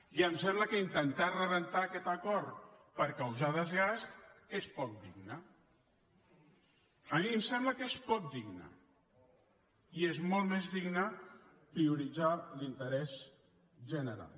i em sembla que intentar rebentar aquest acord per causar desgast és poc digne a mi em sembla que és poc digne i és molt més digne prioritzar l’interès general